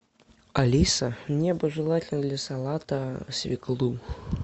алиса мне бы желательно для салата свеклу